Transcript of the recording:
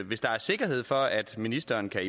hvis der er sikkerhed for at ministeren kan